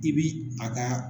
I b'i a ka